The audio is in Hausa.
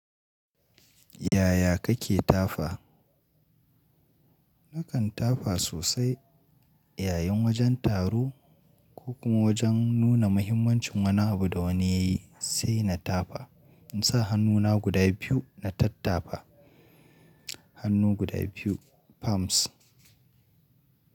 Yaya kake tafa? Nakan tafa sosai yayin wajen taro ko kuma wajen nuna mahimmancin wani abu da wani yayi sai na tafa. In sa hannuna guda biyu na tattafa. Hannu guda biyu palms.